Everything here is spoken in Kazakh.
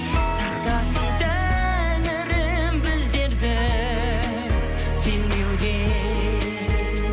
сақтасын тәңірім біздерді сенбеуден